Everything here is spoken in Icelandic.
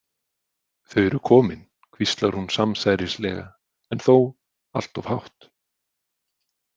Þau eru komin, hvíslar hún samsærislega en þó allt of hátt.